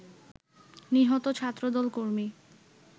নিহত ছাত্রদল কর্মী